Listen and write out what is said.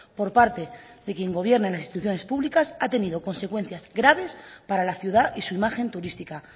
por parte de quien gobierna en las instituciones públicas ha tenido consecuencias graves para la ciudad y su imagen turística